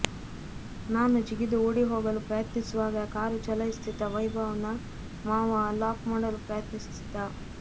ನಾನು ಜಿಗಿದು ಓಡಿ ಹೋಗಲು ಪ್ರಯತ್ನಿಸುವಾಗ ಕಾರು ಚಲಾಯಿಸುತ್ತಿದ್ದ ವೈಭವ್ನ ಮಾವ ಲಾಕ್ ಮಾಡಲು ಪ್ರಯತ್ನಿಸಿದ್ದ